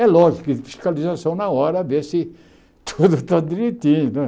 É lógico, que fiscalização na hora, ver se tudo está direitinho né.